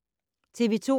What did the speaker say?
TV 2